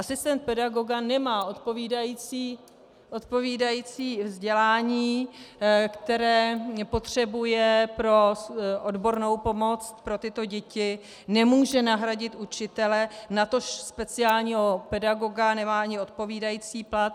Asistent pedagoga nemá odpovídající vzdělání, které potřebuje pro odbornou pomoc pro tyto děti, nemůže nahradit učitele, natož speciálního pedagoga, nemá ani odpovídající plat.